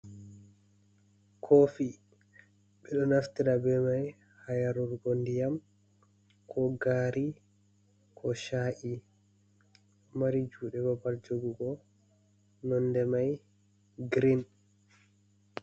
Kofi, bedo naftira be mai ha yarugo ndiyam, ko gari, ko sha’i. Mari jude babal jogugo, nonde mai grein.